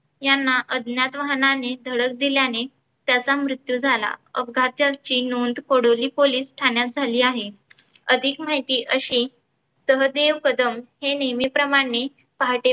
यांना अज्ञात वहाणानी धडक दिल्यानी त्यांचा मृत्यू झाला. अपघाताची नोंद कडोली ठाण्यात झालेली आहे. अधीक माहिती अशी सहदेव कदम हे नेहमी प्रमाणे पहाटे